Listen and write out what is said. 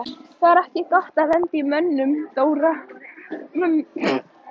Það var ekki gott að lenda í mömmu Dóra.